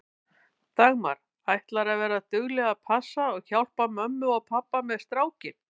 Dagmar: Ætlarðu að vera dugleg að passa og hjálpa mömmu og pabba með strákinn?